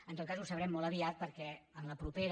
en tot cas ho sabrem molt aviat perquè en la propera